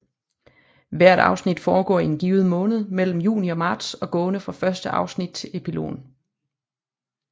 Hvert afsnit foregår i en given måned mellem juni og marts gående fra første afsnit til epilogen